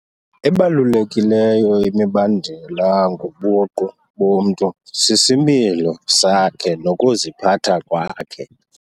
Ebalulekileyo imibandela ngobuqu bomntu sisimilo sakhe nokuziphatha kwakhe.